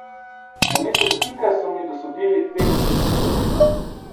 Namesto dotika so mi dosodili petdesetico.